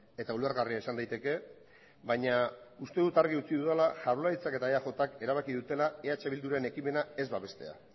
eta ulergarria izan daiteke baina uste dut argi utzi dudala jaurlaritzak eta eajk erabaki dutela eh bilduren ekimena ez babestea